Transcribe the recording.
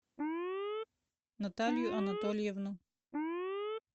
наталью анатольевну